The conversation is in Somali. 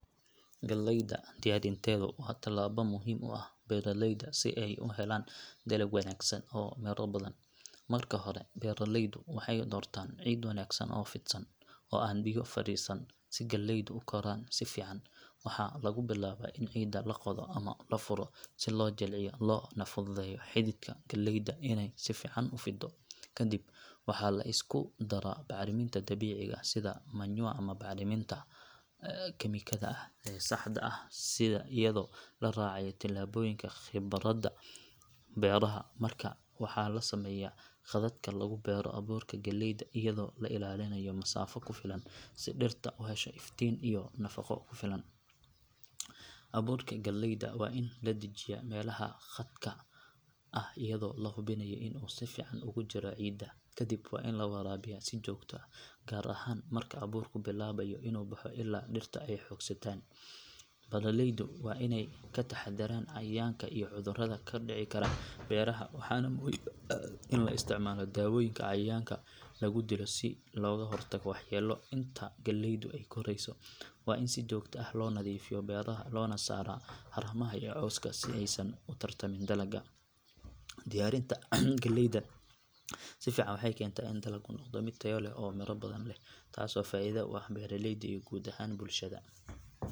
Galleyda diyaarinteedu waa tallaabo muhiim u ah beeralayda si ay u helaan dalag wanaagsan oo miro badan. Marka hore, beeralaydu waxay doortaan ciid wanaagsan oo fidsan, oo aan biyo fadhiisin si galleydu u koraan si fiican. Waxaa lagu bilaabaa in ciidda la qodo ama la furo si loo jilciyo loona fududeeyo xididka galleyda inay si fiican u fiddo. Kadib waxaa la isku daraa bacriminta dabiiciga ah sida manure ama bacriminta kiimikada ah ee saxda ah iyadoo la raacayo talooyinka khabiirada beeraha. Markaa waxaa la sameeyaa khadadka lagu beero abuurka galleyda iyadoo la ilaalinayo masaafo ku filan si dhirta u hesho iftiin iyo nafaqo ku filan. Abuurka galleyda waa in la dajiyaa meelaha khadadka ah iyadoo la hubinayo in uu si fiican ugu jiro ciidda. Kadib waa in la waraabiyaa si joogto ah, gaar ahaan marka abuurku bilaabayo inuu baxo ilaa dhirta ay xoogaystaan. Beeralaydu waa inay ka taxadaraan cayayaanka iyo cudurada ka dhici kara beeraha, waxaana muhiim ah in la isticmaalo daawooyinka cayayaanka lagu dilo si looga hortago waxyeello. Inta galleydu ay korayso, waa in si joogto ah loo nadiifiyaa beeraha loona saaraa haramaha iyo cawska si aysan u tartamin dalagga. Diyaarinta galleyda si fiican waxay keentaa in dalaggu noqdo mid tayo leh oo miro badan leh, taasoo faa’iido u ah beeraleyda iyo guud ahaan bulshada.